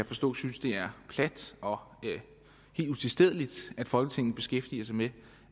forstå synes det er plat og helt utilstedeligt at folketinget beskæftiger sig med